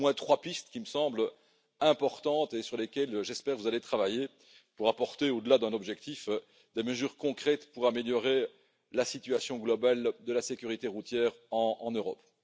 Voilà au moins trois pistes qui me semblent importantes et sur lesquelles j'espère que vous allez travailler pour apporter, au delà d'un objectif, des mesures concrètes pour améliorer la situation globale de la sécurité routière en Europe.